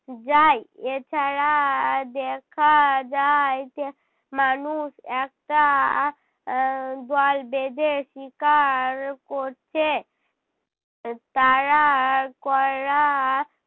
যায়। এছাড়া দেখা যায় যে মানুষ একটা আহ দল বেঁধে শিকার করছে। এর তারা করা